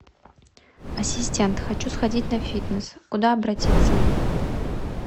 ассистент хочу сходить на фитнес куда обратиться